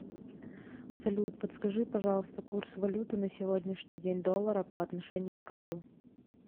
салют подскажи пожалуйста курс валюты на сегодняшний день доллара по отношению к рублю